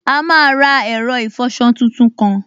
A máa ra ẹ̀rọ ìfọsọ tuntun kan